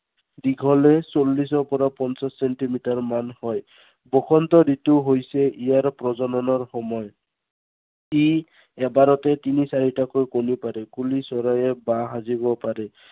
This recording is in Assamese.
দীঘলে চল্লিশৰ পৰা পঞ্চাশ চেন্টিমিটাৰমান হয়। বসন্ত ঋতু হৈছে ইয়াৰ প্ৰজননৰ সময়। ই এবাৰতে তিনি চাৰিটাকৈ কণী পাৰে। কুলি চৰায়ে বাহ সাজিব পাৰে।